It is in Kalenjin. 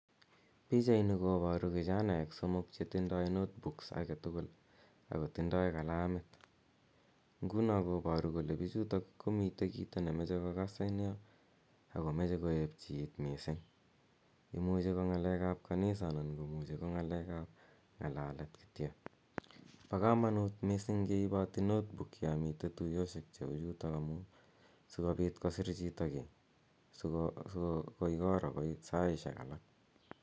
Pichaini kobaru kichanaek somok che tindoi notebooks age tugul ak kotindoi kalamit. Nguno kobaru kole bichutok komiten kito ne moche kogas en yo ak komache koek chi mising. Imuche ko ngakekab kanisa anan komuche ko ngalekab ngalet kityo. Bo kamanut mising ngeiboti notebook, yon miten tuyosiek cheu chuto amu sigopit kosir chito kiy si, sigoi koro goi saisiek alak.